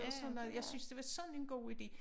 Og sådan noget jeg synes det var sådan en god ide